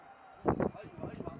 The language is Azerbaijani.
Ayva! Ayva! Allah! Ayva! Vur!